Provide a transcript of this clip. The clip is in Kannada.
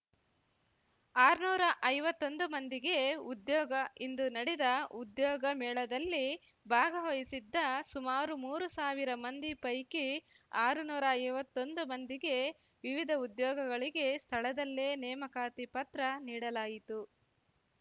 ಆರ್ನೂರಾ ಐವತ್ತೊಂದು ಮಂದಿಗೆ ಉದ್ಯೋಗ ಇಂದು ನಡೆದ ಉದ್ಯೋಗ ಮೇಳದಲ್ಲಿ ಭಾಗವಹಿಸಿದ್ದ ಸುಮಾರು ಮೂರು ಸಾವಿರ ಮಂದಿ ಪೈಕಿ ಆರು ನೂರಾ ಐವತ್ತೊಂದು ಮಂದಿಗೆ ವಿವಿಧ ಉದ್ಯೋಗಗಳಿಗೆ ಸ್ಥಳದಲ್ಲೇ ನೇಮಕಾತಿ ಪತ್ರ ನೀಡಲಾಯಿತು